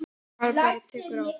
Ef maður bara tekur á.